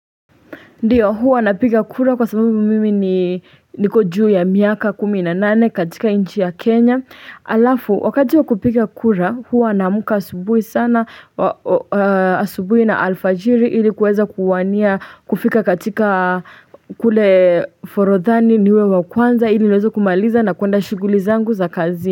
Ndiyo huwa napiga kura kwa sababu mimi niko juu ya miaka kumi na nane katika nchi ya Kenya Alafu wakati wa kupiga kura huwa naamka asubuhi sana Asubui na alfajiri ili kuweza kuwania kufika katika kule forodhani niwe wa kwanza ili niweze kumaliza na kuenda shughuli zangu za kazi.